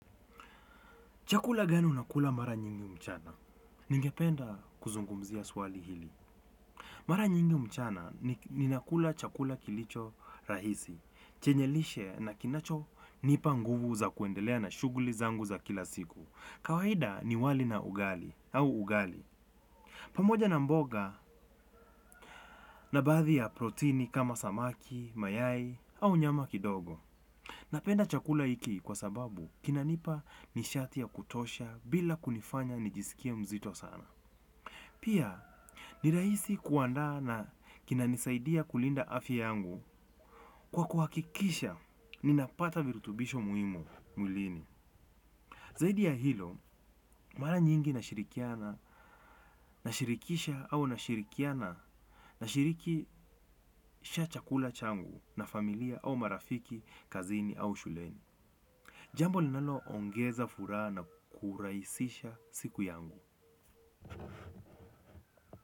Chakula gani unakula mara nyingi mchana? Ningependa kuzungumzia swali hili. Mara nyingi mchana ni nakula chakula kilicho rahisi. Chenye lishe na kinacho nipa nguvu za kuendelea na shuguli zangu za kila siku. Kawaida ni wali na ugali au ugali. Pamoja na mboga na baadhi ya proteini kama samaki, mayai au nyama kidogo. Napenda chakula hiki kwa sababu kinanipa nishati ya kutosha bila kunifanya nijiskie mzito sana. Pia ni raisi kuanda na kinanisaidia kulinda afya yangu kwa kuhakikisha ninapata virutubisho muhimu mwilini. Zaudi ya hilo mara nyingi nashirikisha au na shirikiana nashirikisha chakula changu na familia au marafiki kazini au shuleni. Jambo linalo ongeza furaha na kuraisisha siku yangu.